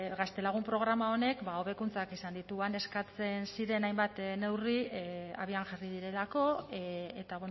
gaztelagun programa honek ba hobekuntzak eskatzen ziren hainbat neurri abian jarri direlako eta